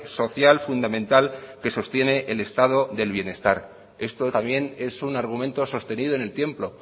social fundamental que sostiene el estado del bienestar esto también es un argumento sostenido en el tiempo